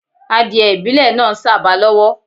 Adiẹ ìbílẹ̀ náa ń sàba lọ́wọ́.